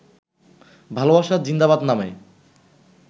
ভালোবাসা জিন্দাবাদ নামে